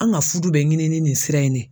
An ka fudu bɛ ɲini ni nin sira in de ye.